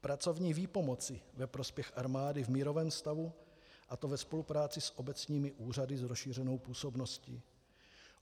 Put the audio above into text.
pracovní výpomoci ve prospěch armády v mírovém stavu, a to ve spolupráci s obecními úřady s rozšířenou působností.